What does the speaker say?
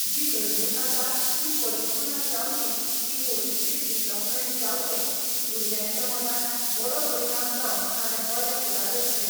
जी घडणूक आसा ती परिपूर्ण जावची ती हाॅलिस्टीक डिव्हलाॅपमॅन्ट जावचें भुरग्यांच्या मनार बरो परिणाम जावन ताणें बरें फुडार रचचें